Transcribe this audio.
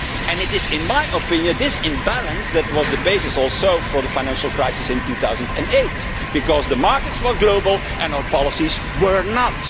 It is in my opinion this imbalance that was also the basis for the financial crisis in 2008 because the markets were global and our policies were not.